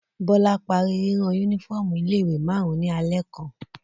Bọ́lá parí rírán únífọ́ọ́mù ilé-ìwé márùn-ún ní alẹ́ kan.